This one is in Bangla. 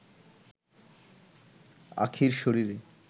আখিঁর শরীরে